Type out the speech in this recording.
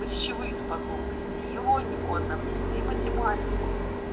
речевые способности и логику одновременно и математику